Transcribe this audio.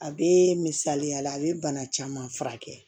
A bee misaliyala a be bana caman furakɛ